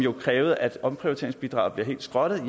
krævede at omprioriteringsbidraget bliver helt skrottet